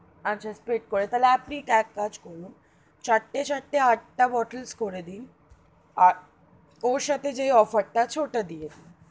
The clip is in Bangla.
আচ্ছা split করে তাহলে আপনি এক কাজ করুন, চার তে চার তে আঠটা bottle করে দিন আর ওর সাথে যে offer. তা আছে ওটা দিয়ে দিন.